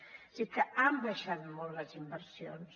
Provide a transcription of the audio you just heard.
o sigui que han baixat molt les inversions